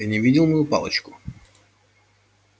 ты не видел мою палочку